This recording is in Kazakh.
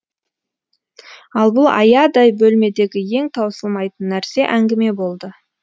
ал бұл аядай бөлмедегі ең таусылмайтын нәрсе әңгіме болды